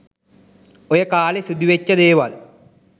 ඔය කාලෙ සිදු වෙච්චි දේවල්